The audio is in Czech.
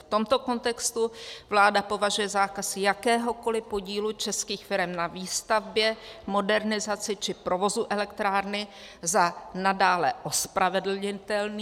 V tomto kontextu vláda považuje zákaz jakéhokoliv podílu českých firem na výstavbě, modernizaci či provozu elektrárny za nadále ospravedlnitelný.